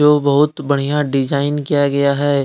को बहुत बढ़िया डिजाइन किया गया हैं।